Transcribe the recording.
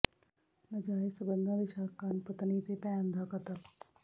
ਨਾਜਾਇਜ਼ ਸਬੰਧਾਂ ਦੇ ਸ਼ੱਕ ਕਾਰਨ ਪਤਨੀ ਤੇ ਭੈਣ ਦਾ ਕਤਲ